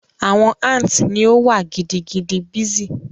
Awọn ants ni o wa gidigidi busy